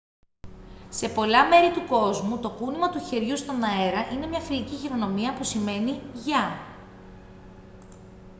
σε πολλά μέρη του κόσμου το κούνημα του χεριού στον αέρα είναι μια φιλική χειρονομία που σημαίνει «γεια»